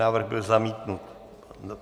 Návrh byl zamítnut.